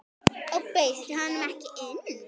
Og bauðstu honum ekki inn?